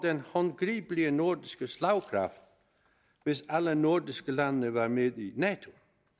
den håndgribelige nordiske slagkraft hvis alle nordiske lande var med i nato